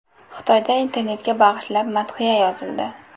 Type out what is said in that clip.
Xitoyda internetga bag‘ishlab madhiya yozildi.